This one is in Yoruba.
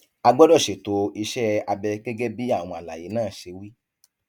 a gbọdọ ṣètò iṣẹ abẹ gẹgẹ bí àwọn àlàyé náà ṣe wí